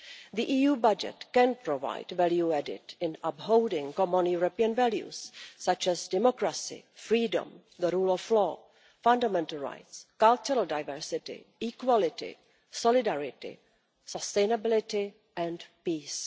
The EU budget can provide value added in upholding common European values such as democracy, freedom, the rule of law, fundamental rights, cultural diversity, equality, solidarity, sustainability and peace.